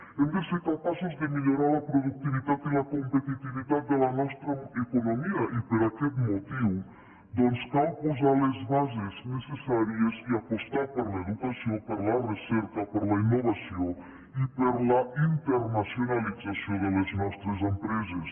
hem de ser capaços de millorar la productivitat i la competitivitat de la nostra economia i per aquest motiu doncs cal posar les bases necessàries i apostar per l’educació per la recerca per la innovació i per la internacionalització de les nostres empreses